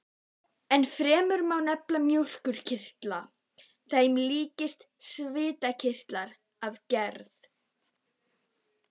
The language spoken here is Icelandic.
Ennfremur má nefna mjólkurkirtla, sem eru líkir svitakirtlum að gerð.